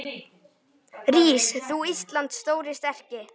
Rís þú, Íslands stóri, sterki